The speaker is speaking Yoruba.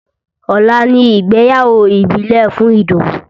Ọ̀la ni ìgbéyàwó ìbílẹ̀ fún Idowu